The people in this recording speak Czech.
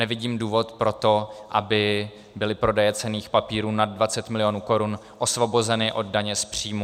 Nevidím důvod pro to, aby byly prodeje cenných papírů nad 20 milionů korun osvobozeny od daně z příjmu.